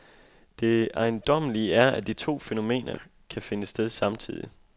Det ejendommelige er, at de to fænomener kan finde sted samtidig.